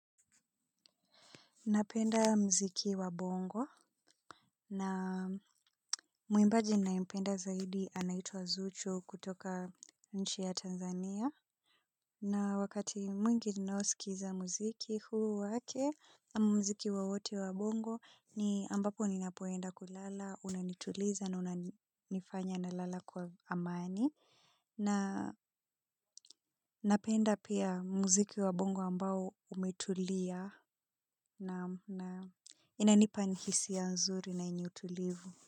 Napenda mziki wa bongo na mwimbaji ninayempenda zaidi anaituwa Zuchu kutoka nchi ya Tanzania. Na wakati mwingi ninaosikiza muziki huu wake, ama muziki wowote wa bongo ni ambapo ninapoenda kulala, unanituliza na unanifanya nalala kwa amani. Na napenda pia muziki wa bongo ambao umetulia na inanipa yaani hisia zuri na yenye utulivu.